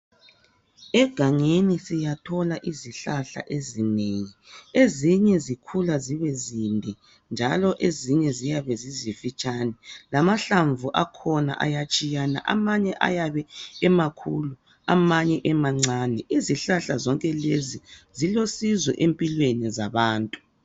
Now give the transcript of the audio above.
Egangeni siyathola izihlahla ezinengi, ezinye zikhula zibe zinde njalo ezinye ziyabe zizimfitshane lamahlamvu akhona ayatshiyana amanye ayabe emakhulu amanye emancane izihlahla zonke lezi zilosizo empilweni zabantu.